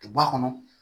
Ba kɔnɔ